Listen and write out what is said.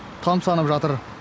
тамсанып жатыр